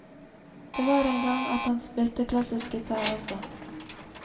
Det var en gang at han spilte klassisk gitar også.